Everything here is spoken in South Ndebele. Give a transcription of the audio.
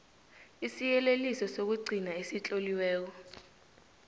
isiyeleliso sokugcina esitloliweko